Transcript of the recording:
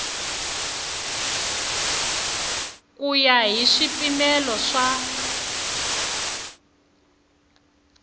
ku ya hi swipimelo swa